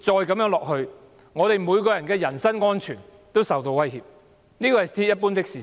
繼續下去的話，所有人的人身安全皆會受威脅，這是鐵一般的事實。